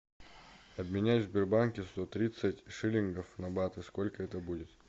обменять в сбербанке сто тридцать шиллингов на баты сколько это будет